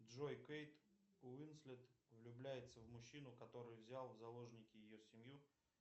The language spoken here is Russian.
джой кейт уинслет влюбляется в мужчину который взял в заложники ее семью